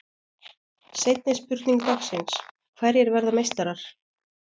Seinni spurning dagsins: Hverjir verða meistarar?